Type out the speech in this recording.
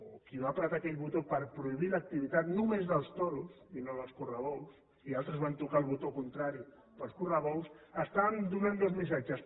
o qui va apretar aquell botó per prohibir l’activitat només dels toros i no dels correbous i altres van tocar el botó contrari pels correbous estàvem donant dos missatges